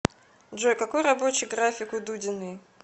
джой какой рабочий график у дудиной